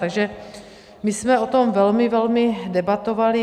Takže my jsme o tom velmi, velmi debatovali.